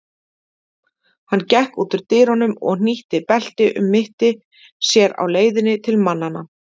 Hann gekk úr dyrunum og hnýtti belti um mitti sér á leiðinni til mannanna.